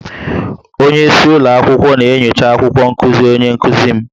Onye isi ụlọ akwụkwọ na-enyocha akwụkwọ nkuzi onye nkuzi m